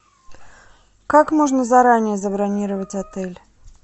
как можно заранее забронировать отель